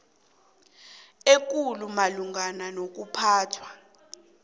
ekulu malungana nokuphathwa